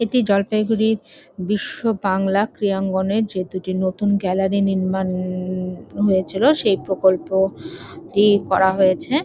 এটি জলপাইগুড়ির বিশ্ববাংলা ক্রিয়াঙ্গনের যে দুটি নতুন গ্যালারি নির্মাণ-ণ-ণ-ণ হয়েছিল সেই প্রকল্প টি করা হয়েছে।